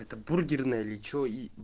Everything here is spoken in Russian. это бургерная или что и